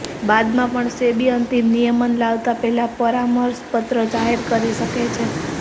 બાદમાં પણ સેબી અંતિમ નિયમન લાવતા પહેલા પરામર્શ પત્ર જાહેર કરી શકે છે